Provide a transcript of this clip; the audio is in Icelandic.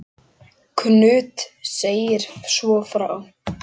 Knud segir svo frá